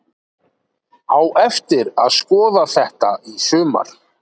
Á eftir að skoða þetta í sumar!!!